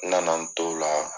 Nana t'ola